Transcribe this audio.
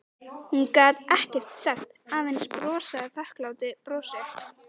Hún gat ekkert sagt, aðeins brosað þakklátu brosi.